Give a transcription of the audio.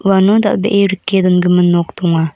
uano dal·bee rike dongimin nok donga.